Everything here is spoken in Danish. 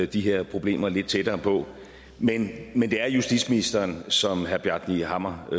de her problemer lidt tættere på men det er justitsministeren som herre bjarni hammer